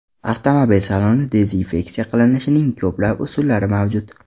Avtomobil salonini dezinfeksiya qilishning ko‘plab usullari mavjud.